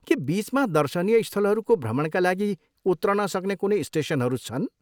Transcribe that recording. के बिचमा दर्शनीय स्थलहरूको भ्रमणका लागि उत्रन सक्ने कुनै स्टेसनहरू छन्?